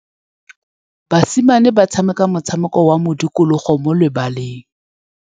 Basimane ba tshameka motshameko wa modikologô mo lebaleng.